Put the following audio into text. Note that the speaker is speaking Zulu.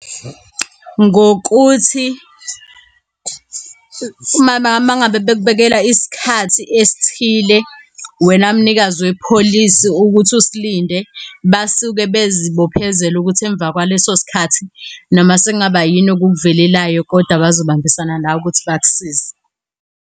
Ngokuthi uma ngabe bekubekela isikhathi esithile, wena mnikazi wepholisi ukuthi usilinde basuke bezi bophezela ukuthi emva kwaleso sikhathi noma sekungaba yini okukuvelelayo kodwa bazo bambisana nawe ukuthi bakusize.